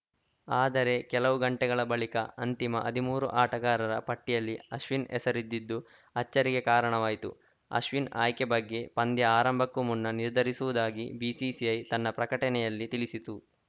ಆದರೆ ಕೆಲವು ಗಂಟೆಗಳ ಬಳಿಕ ಅಂತಿಮ ಹದಿಮೂರು ಆಟಗಾರರ ಪಟ್ಟಿಯಲ್ಲಿ ಅಶ್ವಿನ್‌ ಹೆಸರಿದ್ದಿದ್ದು ಅಚ್ಚರಿಗೆ ಕಾರಣವಾಯಿತು ಅಶ್ವಿನ್‌ ಆಯ್ಕೆ ಬಗ್ಗೆ ಪಂದ್ಯ ಆರಂಭಕ್ಕೂ ಮುನ್ನ ನಿರ್ಧರಿಸುವುದಾಗಿ ಬಿಸಿಸಿಐ ತನ್ನ ಪ್ರಕಟಣೆಯಲ್ಲಿ ತಿಳಿಸಿತು